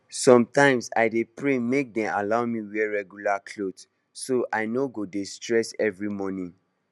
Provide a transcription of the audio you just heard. sometimes i dey pray make dem allow me wear regular clothes so i no go dey stress every morning